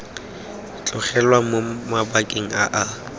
tlogelwang mo mabakeng a a